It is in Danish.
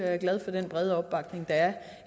er glad for den brede opbakning der er